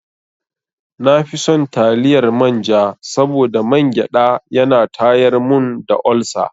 Na fi son taliyar manja saboda mangyaɗa ya na tayar mun da olsa.